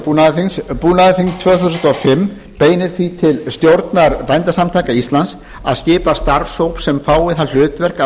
búnaðarþings búnaðarþing tvö þúsund og fimm beinir því til stjórnar bændasamtaka íslands að skipa starfshóp sem fái það hlutverk að